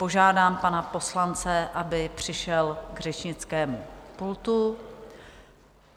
Požádám pana poslance, aby přišel k řečnickému pultu.